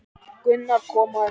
Gunnar kom á eftir.